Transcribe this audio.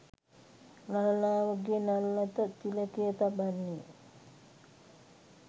ලලනාවගේ නළලත තිලකය තබන්නේ